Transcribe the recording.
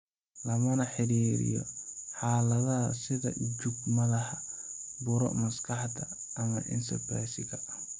Lama xiriiriyo xaaladaha sida jug madaxa, buro maskaxda, ama encephalitisiga.